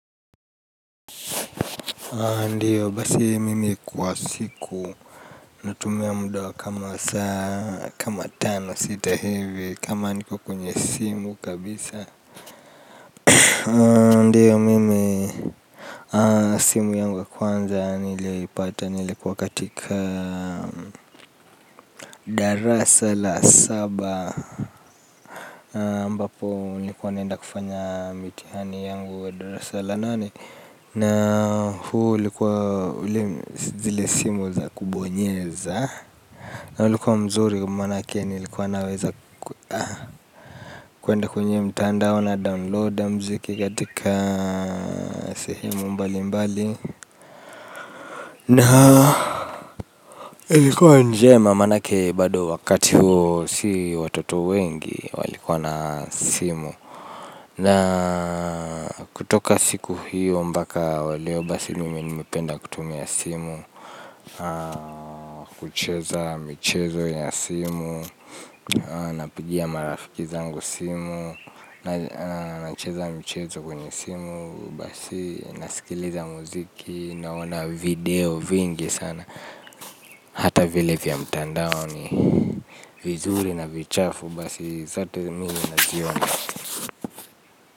Ndiyo, basi mimi kwa siku, natumia muda wa kama saa kama tano sita hivi kama niko kunye simu kabisa. Ndiyo mimi. Simu yangu ya kwanza nilipata nilikuwa katika darasa la saba ambapo nilikuwa naenda kufanya mitihani yangu wa darasa la nane. Na huu ulikuwa ule zile simu za kubonyeza. Na ulikuwa mzuri kwa manake nilikuwa naweza kuenda kwenye mtandao na download mziki katika sehemu mbali mbali. Na ulikuwa njema manake bado wakati huo si watoto wengi walikuwa na simu. Na kutoka siku hiyo mpaka wa leo basi mimi nimependa kutumia simu. Kucheza michezo ya simu. Napigia marafiki zangu simu. Nacheza mchezo kwenye simu. Basi nasikiliza muziki. Naona video vingi sana. Hata vile vya mtandao ni vizuri na vichafu. Basi zato mimi naziona.